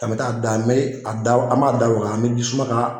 A bi taa da n mi a da, an m'a da waga, an mi jisuma ka